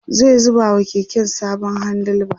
zai zuba wa keken sabon handle bar